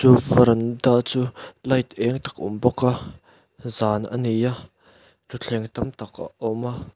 veranda chu light eng tak a awm bawk a zan a ni a thutthleng tam tak a awm a.